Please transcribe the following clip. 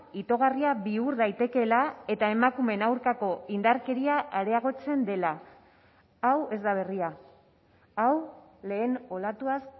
itogarria bihur daitekeela eta emakumeen aurkako indarkeria areagotzen dela hau ez da berria hau lehen olatuaz